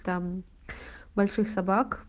там больших собак